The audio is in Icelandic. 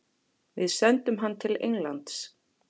Við sendum hann til Englands.